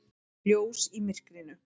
Ljós í myrkrinu.